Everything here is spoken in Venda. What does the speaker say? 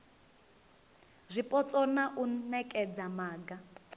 zwipotso na u nekedza maga